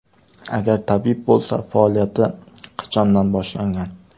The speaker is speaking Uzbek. Agar tabib bo‘lsa, faoliyati qachondan boshlangan?